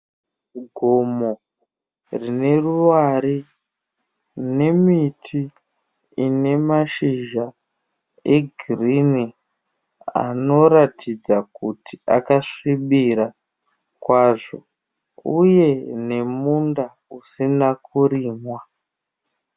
Gomo rine ruware rine miti ine mashizha egirini anoratidza kuti akasvibira kwazvo uye nemunda usina kurimwa.